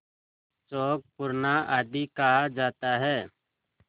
चौक पूरना आदि कहा जाता है